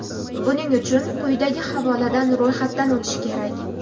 Buning uchun quydagi havoladan ro‘yxatdan o‘tish kerak.